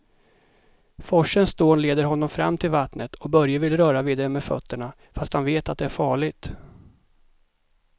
Forsens dån leder honom fram till vattnet och Börje vill röra vid det med fötterna, fast han vet att det är farligt.